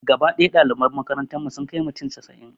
Gaba ɗaya ɗaliban makarantar mu sun kai mutum casa'in